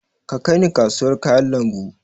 Ki kai ni kasawar kayan lambu!